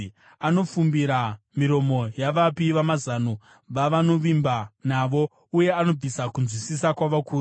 Anofumbira miromo yavapi vamazano vavanovimba navo, uye anobvisa kunzwisisa kwavakuru.